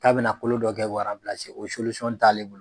K'a bɛna kolo dɔ kɛ k'o o t'ale bolo.